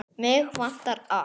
Mig vantar allt.